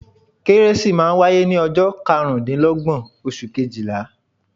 Kérésì máa n wáyé ní ojọ́ karùndínlógbọ̀n oṣù kejìlá